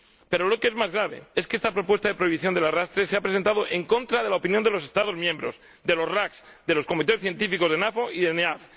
Pero lo que es más grave es que esta propuesta de prohibición del arrastre se ha presentado en contra de la opinión de los Estados miembros, de los CCR, de los comités científicos de la NAFO y de la NEAFC.